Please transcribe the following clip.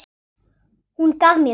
Hún gaf mér þau.